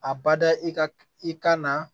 A bada i ka i kan na